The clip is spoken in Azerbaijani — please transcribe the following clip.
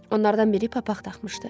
Onlardan biri papaq taxmışdı.